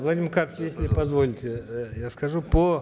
владимир карпович если вы позволите э я скажу по